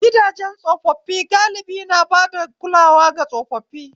Gidajen tsofaffi galibi na bada kulawa ga tsofaffi